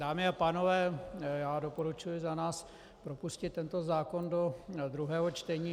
Dámy a pánové, já doporučuji za nás propustit tento zákon do druhého čtení.